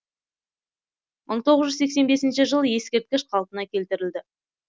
мың тоғыз жүз сексен бесінші жылы ескерткіш қалпына келтірілді